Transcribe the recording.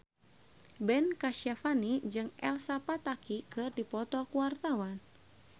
Ben Kasyafani jeung Elsa Pataky keur dipoto ku wartawan